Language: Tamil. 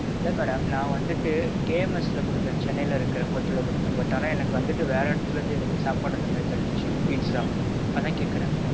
இல்ல madam, நான் வந்துட்டு KMS ல குடுத்தேன் சென்னைல இருக்குற hotelல, ஆனான் எனக்கு வந்திட்டு வேற எடத்துல இருந்து சாப்பாடு வந்திச்சு pizza. அதான் கேக்குறேன்.